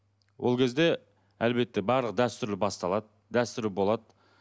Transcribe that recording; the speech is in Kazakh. ол кезде әлбетте барлық дәстүр басталады дәстүр болады